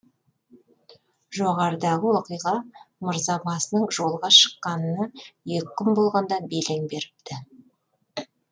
жоғарыдағы оқиға мырзабасының жолға шыққанына екі күн болғанда белең беріпті